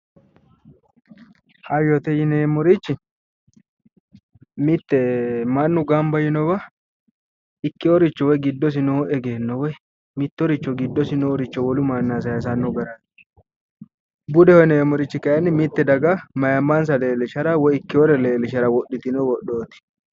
Hayyote yineemmorichi mitte mannu gamba yiinowa ikkeyooricho woye giddosi noo egenno woyi mittoricho giddosi nooricho wolu mannira sayeesannorichooti budeho yineemmorichi kayeenni mitte daga ayiimmansa woyi ikkeyooricho leellishshara wodhitino widhooti